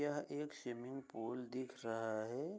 यह एक swimming pool दिख रहा है ।